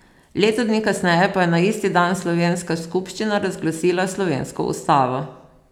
Leto dni kasneje pa je na isti dan slovenska skupščina razglasila slovensko ustavo.